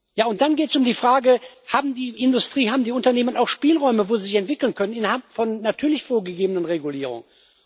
Ja, und dann geht es um die Frage Hat die Industrie, haben die Unternehmen auch Spielräume, wo sie sich entwickeln können, natürlich innerhalb von vorgegebenen Regulierungen?